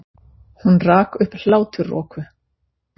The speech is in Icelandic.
Hún rak upp hláturroku.